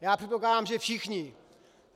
Já předpokládám, že všichni.